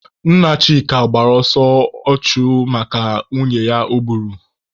Nna Chika gbara ọsọ ọchụ maka nwunye ya o gburu.